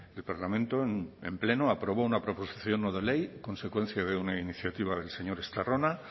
el parlamento en pleno aprobó una proposición no de ley consecuencia de una iniciativa del señor estarrona